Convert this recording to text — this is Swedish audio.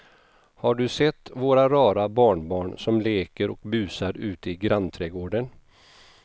Har du sett våra rara barnbarn som leker och busar ute i grannträdgården!